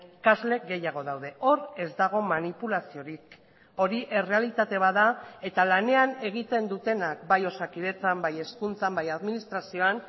ikasle gehiago daude hor ez dago manipulaziorik hori errealitate bat da eta lanean egiten dutenak bai osakidetzan bai hezkuntzan bai administrazioan